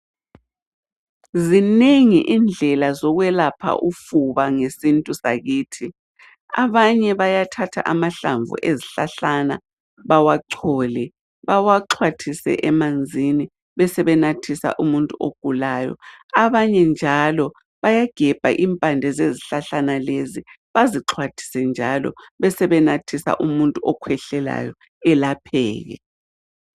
Zinengi indlela zokwelapha ufuba ngesintu sakithi. Abanye bayathatha amahlamvu ezihlahlana bawachole, bawaxhwathise emanzini besebenathisa umuntu ogulayo. Abanye njalo bayagebha impande zezihlahlana lezi bazixhwathise njalo besebenathisa umuntu okhwehlelayo elapheke.